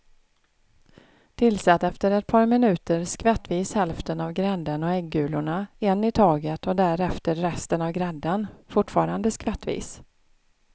Tillsätt efter ett par minuter skvättvis hälften av grädden och äggulorna en i taget och därefter resten av grädden, fortfarande skvättvis.